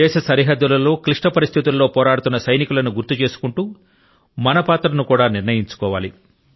దేశ సరిహద్దుల లో క్లిష్ట పరిస్థితుల లో పోరాడుతున్న సైనికుల ను గుర్తు చేసుకుంటూ మన పాత్ర ను కూడా నిర్ణయించుకోవాలి